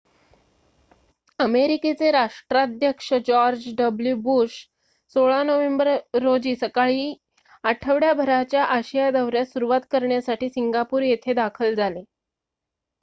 अमेरिकेचे राष्ट्राध्यक्ष George W Bush 16 November रोजी सकाळी आठवड्याभराच्या आशिया दौर्‍यास सुरुवात करण्यासाठी सिंगापूर येथे दाखल झाले